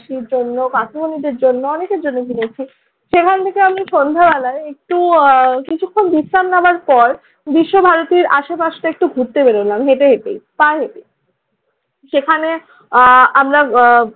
মাসির জন্য, কাকুমনিদের জন্য অনেকের জন্য কিনেছি। সেখান থেকে আমি সন্ধ্যেবেলায় একটু কিছুক্ষণ বিশ্রাম নেওয়ার পর বিশ্বভারতীর আশপাশটা একটু ঘুরতে বেরোলাম হেঁটে হেঁটেই পায়ে হেঁটেই। আর সেখানে আহ আমরা